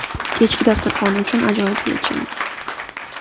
Kechki dasturxon uchun ajoyib yechim.